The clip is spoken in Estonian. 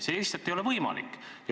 See lihtsalt ei ole võimalik.